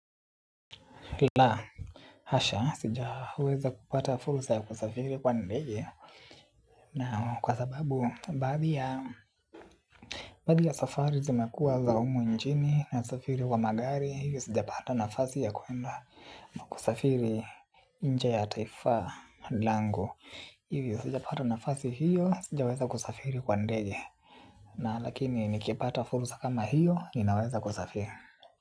Laa. Hasha, sijaweza kupata furusa ya kusafiri kwa ndege. Na kwa sababu, badia badia safari zimekuwa za umu nchini nasafiri kwa magari. Hivyo sijapata nafasi ya kuenda na kusafiri nje ya taifa langu, hivyo sijapata nafasi hiyo, sijaweza kusafiri kwa ndege. Na lakini nikipata furusa kama hiyo, ninaweza kusafiri.